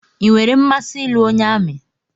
I nwèrè mmasị ịlụ onye amị